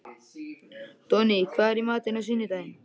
Donni, hvað er í matinn á sunnudaginn?